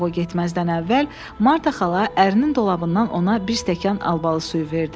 Ancaq o getməzdən əvvəl Marta xala ərinin dolabından ona bir stəkan albalı suyu verdi.